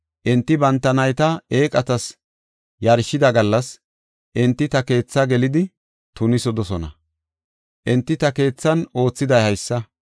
Enti banta nayta eeqatas yarshida gallas, enti ta keetha gelidi tunisidosona; enti ta keethan oothiday haysa.”